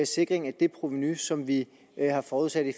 sikring af det provenu som vi har forudsat i